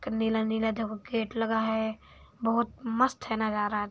नीला-नीला देखो गेट लगा है बहुत मस्त है नजारा।